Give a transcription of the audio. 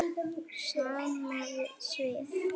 Sama svið.